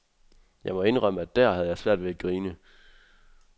Jeg må indrømme, at dér havde jeg svært ved at grine.